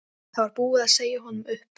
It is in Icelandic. Það var búið að segja honum upp.